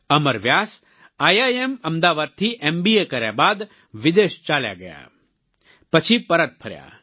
અમર Vyas IIM અમદાવાદથી MBA કર્યા બાદ વિદેશ ચાલ્યા ગયા પછી પરત ફર્યા